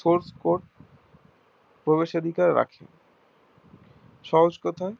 source code প্রবেশাধিকার রাখে সহজ কথায়